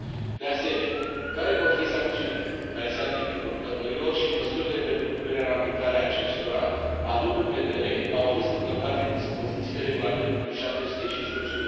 De asemenea, care vor fi sancțiunile care se aplică producătorilor și măsurile pentru punerea în aplicare a acestora, având în vedere că au fost încălcate dispozițiile Regulamentului nr. 715